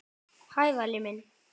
Hæ, Valli minn.